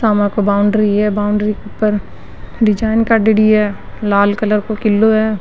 Boundary है boundary के ऊपर डिजाइन कर रेडी है लाल कलर को किलो है।